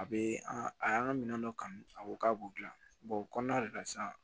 A bɛ an a y'an ka minɛn dɔ kanu a ko k'a b'u dilan o kɔnɔna de la sisan